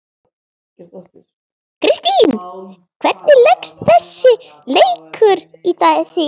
Kristinn, hvernig leggst þessi leikur í þig?